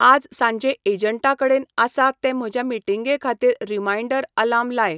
आज सांजे ऐजंटाकडेन आसा ते म्हज्या मिटींगेखातीर रीमाइन्डर आलार्म लाय